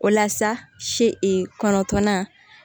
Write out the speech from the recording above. O la sa si kɔnɔntɔnnan